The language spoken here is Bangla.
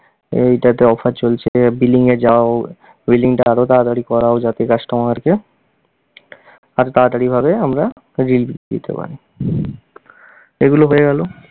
এইটাতে offer চলছে, billing এ যাও, billing টা আরও তাড়াতাড়ি করাও যাতে customer কে আরও তাড়াতাড়ি ভাবে আমরা relieve দিতে পারি। এগুলো হয়ে গেল।